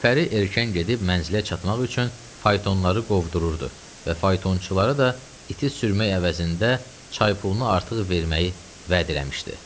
Gülpəri erkən gedib mənzilə çatmaq üçün faytonları qovdururdu və faytonçulara da iti sürmək əvəzində çaypulunu artıq verməyi vəd eləmişdi.